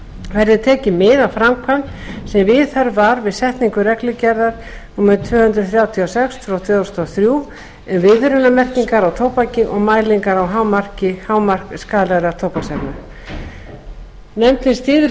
verði tekið mið af framkvæmd sem viðhöfð var við setningu reglugerðar númer tvö hundruð þrjátíu og sex tvö þúsund og þrjú um viðvörunarmerkingar á tóbaki og mælingar og hámark skaðlegra tóbaksefna nefndin styður